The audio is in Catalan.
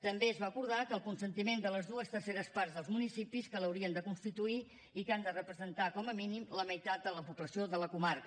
també es va acordar el consentiment de les dues terceres parts dels municipis que l’haurien de constituir i que han de representar com a mínim la meitat de la població de la comarca